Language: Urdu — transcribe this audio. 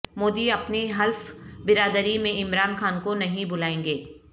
مودی اپنی حلف برداری میں عمران خان کو نہیں بلائیں گے